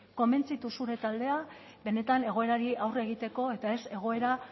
konbentzitu zure taldea benetan egoerari aurre egiteko eta ez egoera